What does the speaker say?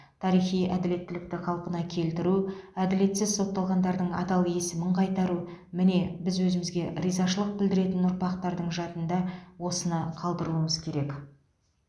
тарихи әділеттілікті қалпына келтіру әділетсіз сотталғандардың адал есімін қайтару міне біз өзімізге ризашылық білдіретін ұрпақтардың жадында осыны қалдыруымыз керек